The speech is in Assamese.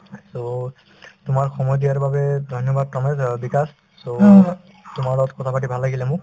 so, তোমাৰ সময় দিয়াৰ বাবে ধন্যবাদ কামেশ অ বিকাশ so তোমাৰ লগত কথাপাতি ভাল লাগিলে মোক